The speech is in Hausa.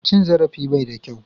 Cin zarafi bai da kyau